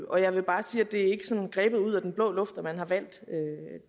og jeg vil bare sige at det ikke er sådan grebet ud af den blå luft at man har valgt